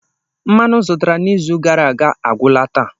Mmanụ m zụtara n'izu gara aga agwụla taa.